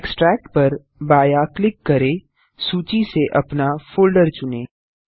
extract पर बायाँ click करें सूची से अपना फोल्डर चुनें